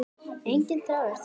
Enginn þráður þurr í dag.